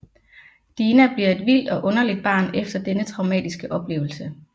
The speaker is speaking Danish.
Dina bliver et vildt og underligt barn efter denne traumatiske oplevelse